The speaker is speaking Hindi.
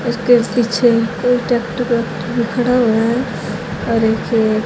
इसके पीछे कोई ट्रैक्टर वोक्टर भी खड़ा हुआ है और एक--